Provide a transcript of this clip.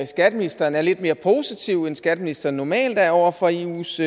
skatteministeren er lidt mere positiv end skatteministeren normalt er over for eus